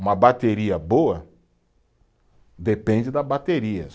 Uma bateria boa depende da bateria.